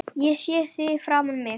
Ég sé þig fyrir mér.